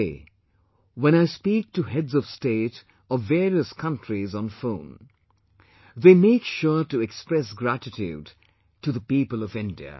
Today when I speak to heads of state of various countries on phone, they make sure to express gratitude to the people of India